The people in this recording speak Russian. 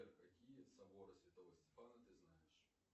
какие соборы святого стефана ты знаешь